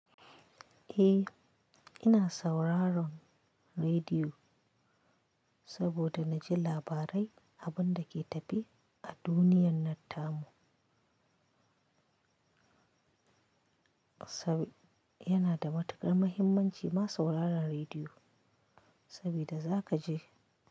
Eh, ina sauraron rediyo saboda na ji labarai abin da ke tafe a duniyar nan tamu. Yana da matukar muhimmanci ma sauraron rediyo sabida za ka ji.